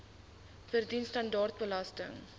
verdien standaard belasting